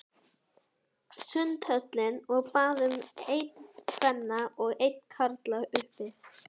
Sundhöllinni og bað um einn kvenna og einn karla, uppi.